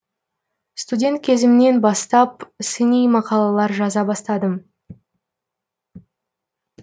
студент кезімнен бастап сыни мақалалар жаза бастадым